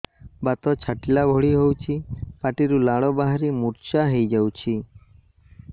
ବାତ ଛାଟିଲା ଭଳି ହଉଚି ପାଟିରୁ ଲାଳ ବାହାରି ମୁର୍ଚ୍ଛା ହେଇଯାଉଛି